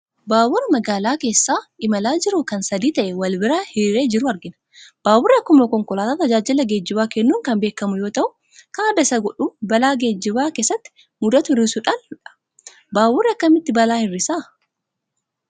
Baabura magaalaa keessa imalaa jiru kan sadii ta'ee wal bira hiriiree jiru argina. Baaburri akkuma konkolaataa tajaajila geejjibaa kennuun kan beekamu yoo ta'u, kan adda isa godhu balaa geejjiba keessatti mudatu hir'isuudhaani dha. Baaburri akkamitti balaa hir'isaa ?